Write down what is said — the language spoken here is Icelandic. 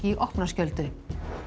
í opna skjöldu